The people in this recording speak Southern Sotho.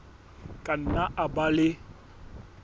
ka nna a ba le